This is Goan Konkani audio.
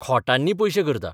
खोटांनी पयशे करता.